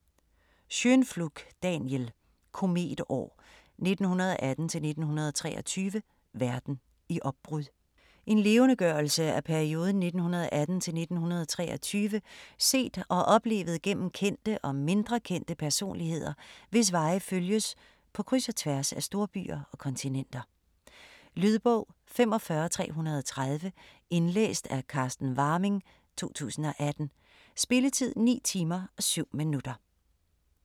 Schönpflug, Daniel: Kometår: 1918-1923 - verden i opbrud En levendegørelse af perioden 1918 til 1923 set og oplevet gennem kendte og mindre kendte personligheder, hvis veje følges på kryds og tværs af storbyer og kontinenter. Lydbog 45330 Indlæst af Carsten Warming, 2018. Spilletid: 9 timer, 7 minutter.